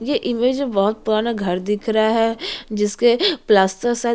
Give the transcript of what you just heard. ये इमेज में बहुत पुराना बड़ा घर दिख रहा है जिसके प्लास्टर शायद --